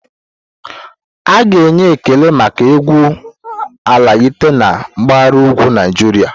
A ga-enwe ekele maka egwu Algaita na mpahara ugwu Naijiria.